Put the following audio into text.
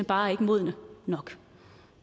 bare ikke modne nok